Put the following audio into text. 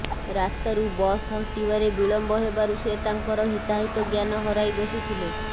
ରାସ୍ତାରୁ ବସ୍ ହଟିବାରେ ବିଳମ୍ବ ହେବାରୁ ସେ ତାଙ୍କର ହିତାହିତ ଜ୍ଞାନ ହରାଇ ବସିଥିଲେ